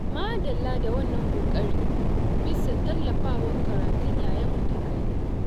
Madalla da wannan ƙoƙari bisa tallafawa karatun ƴaƴanmu da ka yi.